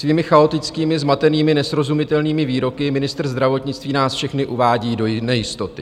Svými chaotickými, zmatenými, nesrozumitelnými výroky ministr zdravotnictví nás všechny uvádí do nejistoty.